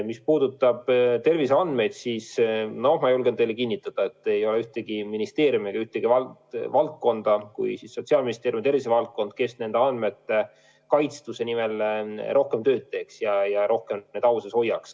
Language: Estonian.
Mis puudutab terviseandmeid, siis ma julgen teile kinnitada, et ei ole ühtegi ministeeriumi, kes nende andmete kaitstuse nimel rohkem tööd teeks kui Sotsiaalministeeriumi tervisevaldkonna inimesed.